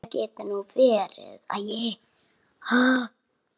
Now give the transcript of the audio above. Ætli það geti nú verið.